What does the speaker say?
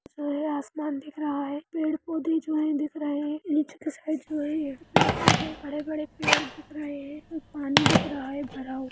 सवेरे आसमान दिख रहा है पेड़-पौधे जो है दिख रहे है नीचे के साइड जो है बड़े-बड़े पेड़ दिख रहे है पानी दिख रहा हैं भरा हु --